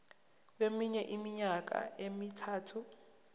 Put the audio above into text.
kweminye iminyaka emithathu